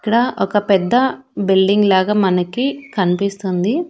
ఇక్కడ ఒక పెద్ద బిల్డింగ్ లాగా మనకి కనిపిస్తుంది.